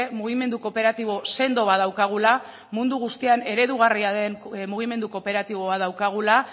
mugimendu kooperatibo sendo bat daukagula mundu guztian eredugarria den mugimendu kooperatiboa daukagula